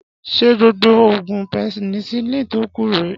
Ṣé gbogbo oògùn penicilin tó kù rèé